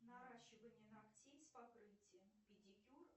наращивание ногтей с покрытием педикюр